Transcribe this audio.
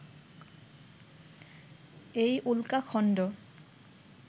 এই উল্কাখন্ড